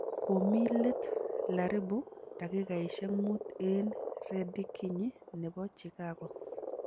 Komii let laribu dakigaisyek muut eng rekidinyi nebo Chikago